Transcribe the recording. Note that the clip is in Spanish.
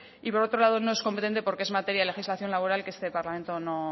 y por otro lado no es competente porque es materia de legislación laboral que este parlamento